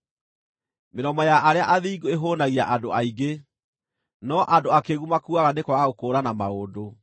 Mĩromo ya arĩa athingu ĩhũnagia andũ aingĩ, no andũ akĩĩgu makuaga nĩ kwaga gũkũũrana maũndũ.